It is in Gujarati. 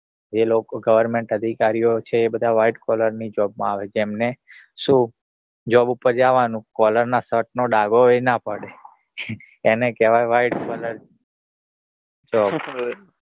એ લોકો Government અધિકારીઓ છે એ બધા white color ની job માં આવે તેમને શું job ઉપર જાવાનું color ના shirt નો ડાઘો ય ના પડે. એને કેવાય